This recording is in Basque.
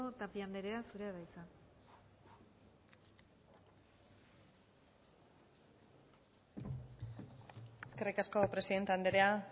tapia andrea zurea da hitza eskerrik asko presidente andrea